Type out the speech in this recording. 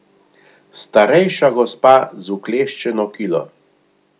Starejša gospa z vkleščeno kilo.